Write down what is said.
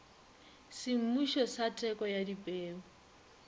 semmušo sa teko ya dipeu